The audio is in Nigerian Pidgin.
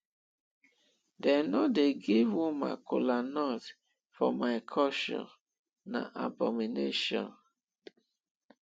dem no dey give woman kolanut for my culture na abomination